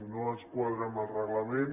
no ens quadra amb el reglament